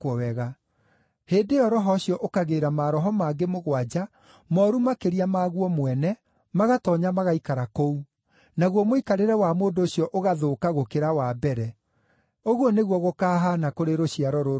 Hĩndĩ ĩyo roho ũcio ũkagĩĩra maroho mangĩ mũgwanja mooru makĩria maguo mwene, magatoonya magaikara kũu. Naguo mũikarĩre wa mũndũ ũcio ũgathũka gũkĩra wa mbere. Ũguo nĩguo gũkahaana kũrĩ rũciaro rũrũ rwaganu.”